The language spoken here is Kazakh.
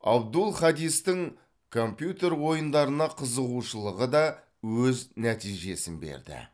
абдул хадистің компьютер ойындарына қызығушылығы да өз нәтижесін берді